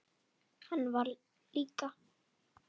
Hann var líka.